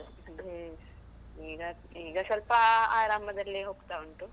ಹ್ಮ್, ಈಗ ಈಗ ಸ್ವಲ್ಪ ಆರಾಮದಲ್ಲಿ ಹೋಗ್ತಾ ಉಂಟು.